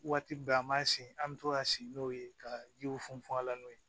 Waati bɛɛ an b'an sigi an be to ka si n'o ye ka jiw funfun a la n'o ye